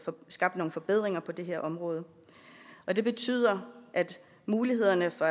skabt nogle forbedringer på det her område det betyder at mulighederne for